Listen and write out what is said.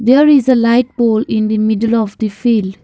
there is a light pole in the middle of the field.